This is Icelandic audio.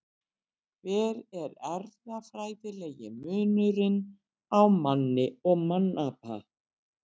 Hver er erfðafræðilegi munurinn á manni og mannapa?